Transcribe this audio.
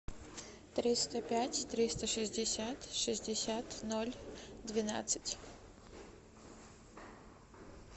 триста пять триста шестьдесят шестьдесят ноль двенадцать